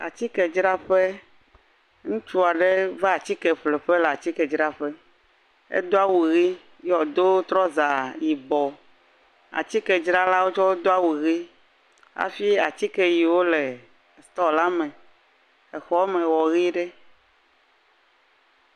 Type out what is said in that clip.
Atikedzraƒe. wo le atike vovovowo dzram. Ame eve wo le atikea dzram. Ame ɖeka va atikea ƒleƒe. Ŋutsu evee le atikea dzram eye ŋutsu ɖeka va eƒlege.